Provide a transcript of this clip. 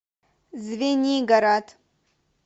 звенигород